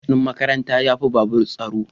Bas din makaranta ya fi babur tsaro.